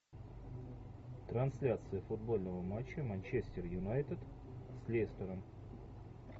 трансляция футбольного матча манчестер юнайтед с лестером